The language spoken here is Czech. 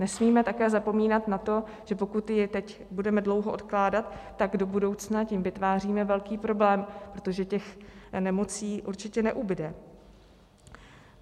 Nesmíme také zapomínat na to, že pokud ji teď budeme dlouho odkládat, tak do budoucna tím vytváříme velký problém, protože těch nemocí určitě neubude.